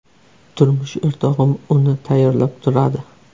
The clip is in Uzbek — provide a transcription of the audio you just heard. Turmush o‘rtog‘im uni tayyorlab turadi.